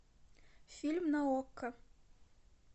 фильм на окко